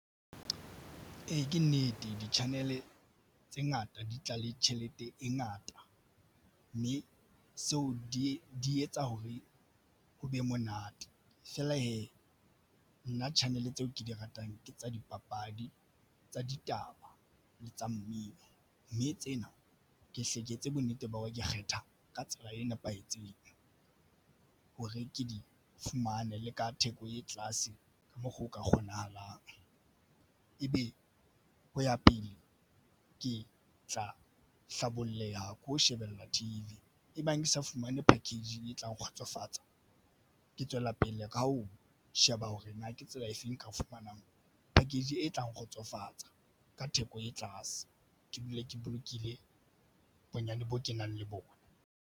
Ee, ke nnete di-channel tse ngata di tla le tjhelete e ngata, mme seo di etsa hore ho be monate fela he nna channel tse ke di ratang ke tsa dipapadi, tsa ditaba le tsa mmino mme tsena ke e etse bonnete ba hore ke kgetha ka tsela e nepahetseng hore ke difumane le ka theko e tlase moo ho ka kgonahalang ebe hoya pele ke tla hlaboleha ke ho shebella T_V e bang ke sa fumane package etla nkgotsofatsa ke tswela pele ka ho sheba hore ke tsela efe enka e fumanang ha ke batla package e theko e fatshe. Ke dule ke bolokile bonyane e kenang le bona.